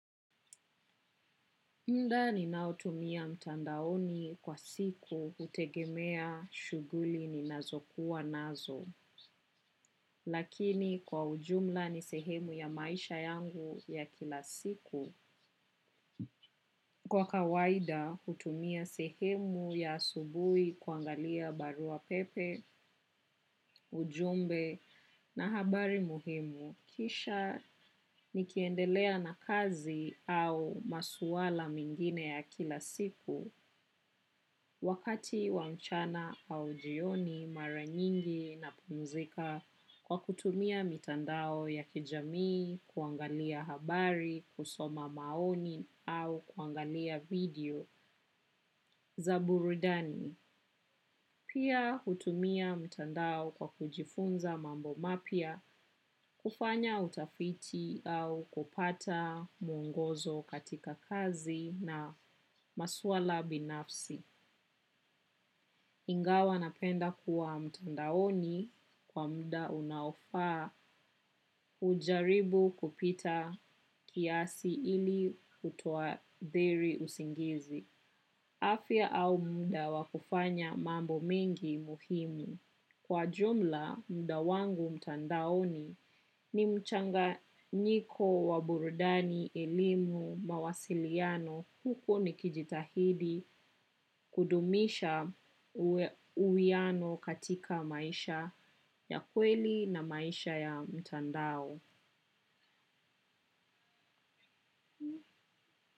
Muda ninaotumia mtandaoni kwa siku hutegemea shuguli ninazokuwa nazo, lakini kwa ujumla ni sehemu ya maisha yangu ya kila siku. Kwa kawaida, hutumia sehemu ya asubuhi kuangalia barua pepe, ujumbe na habari muhimu. Kisha nikiendelea na kazi au masuala mengine ya kila siku wakati wa mchana au jioni mara nyingi napumuzika kwa kutumia mitandao ya kijamii, kuangalia habari, kusoma maoni au kuangalia video za burudani. Pia hutumia mtandao kwa kujifunza mambo mapya kufanya utafiti au kupata mwongozo katika kazi na maswala binafsi. Ingawa napenda kuwa mtandaoni kwa muda unaofaa hujaribu kupita kiasi ili kutoathiri usingizi. Afya au muda wa kufanya mambo mengi muhimu. Kwa jumla, muda wangu mtandaoni ni mchanganyiko wa burudani elimu mawasiliano huku nikijitahidi kudumisha uwiano katika maisha ya kweli na maisha ya mtandao.